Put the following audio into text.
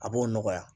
A b'o nɔgɔya